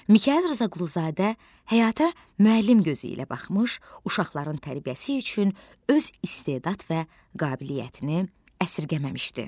Mikayıl Rzaquluzadə həyata müəllim gözü ilə baxmış, uşaqların tərbiyəsi üçün öz istedad və qabiliyyətini əsirgəməmişdi.